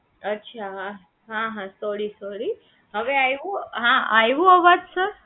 અચ્છા હા હા sorry sorry અવે આયવું આયવો અવાજ સર